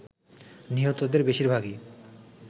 নিহতদের বেশিরভাগই